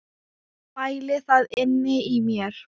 Bæli það inni í mér.